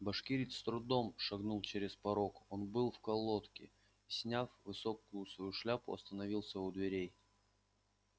башкирец с трудом шагнул через порог он был в колодке и сняв высокую свою шляпу остановился у дверей